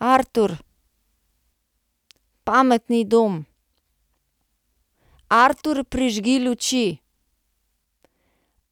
Artur. Pametni dom. Artur, prižgi luči.